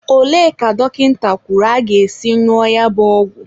Olee ka dọkịta kwuru aga-esi ñụọ ya bụ ọgwụ?